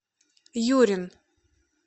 юрин